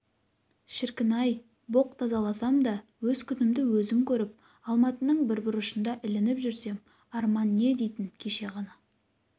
шіркін-ай боқ тазаласам да өз күнімді өзім көріп алматының бір бұрышында ілініп жүрсем арман не дейтін кеше ғана